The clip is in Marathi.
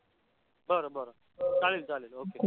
बर बर. चालेल चालेल okay